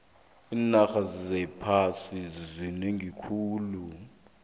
iinarha zephasi zinengi khulu